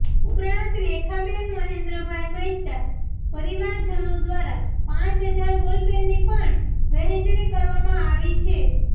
ઉપરાંત રેખાબેન મહેન્દ્રભાઈ મહેતા પરિવારજનો દ્વારા પાંચ હજાર બોલપેનની પણ વહેચણી કરવામાં આવી છે